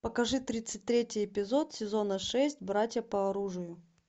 покажи тридцать третий эпизод сезона шесть братья по оружию